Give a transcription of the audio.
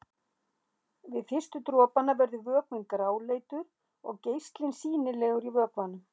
Við fyrstu dropana verður vökvinn gráleitur og geislinn sýnilegur í vökvanum.